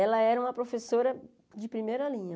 Ela era uma professora de primeira linha.